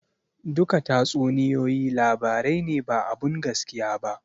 Duka tatsuniyoyi labarai ne ba abun gaskiya ba